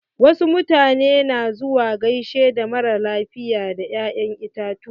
Wasu mutane na zuwa gaishe da mara lafiya da ya'yan itatuwa.